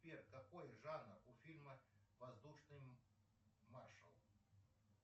сбер какой жанр у фильма воздушный маршал